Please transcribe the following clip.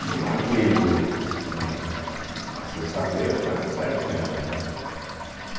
E eu marquei um um fim uma sexta-feira para sair com ela, né.